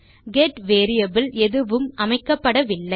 get variable எதுவும் அமைக்கப்படவில்லை